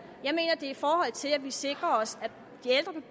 i forhold til at vi sikrer os